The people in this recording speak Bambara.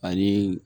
Ani